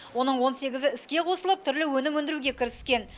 оның он сегізі іске қосылып түрлі өнім өндіруге кіріскен